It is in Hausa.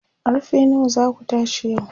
karfe nawa zaku tashi yau?